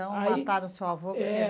Aí... Então mataram o seu avô. É.